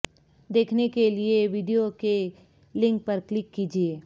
دیکھنے کے لیے ویڈیو کے لنک پر کلک کیجیے